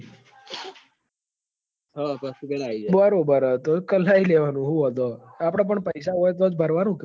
પણ સસ્તું થઇ ન આઈ જાય બરોબર પહી કલાઈ લેવાનું હું વોધો હ આપડ પણ પઇસા હોય તો જ ભરવાનું ક